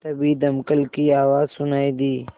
तभी दमकल की आवाज़ सुनाई दी